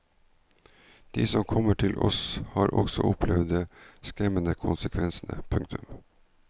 De som kommer til oss har også opplevd de skremmende konsekvensene. punktum